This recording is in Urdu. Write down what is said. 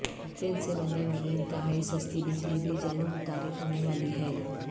تیل سے بننے والی انتہائی سستی بجلی بھی جلد متعارف ہونے والی ہے